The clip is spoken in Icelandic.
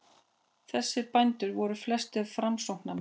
Þessir bændur voru flestir framsóknarmenn.